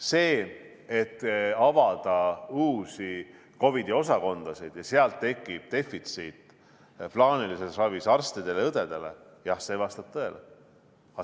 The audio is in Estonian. See, et uute COVID-i osakondade avamine tekitab plaanilises ravis arstide-õdede defitsiiti – jah, see vastab tõele.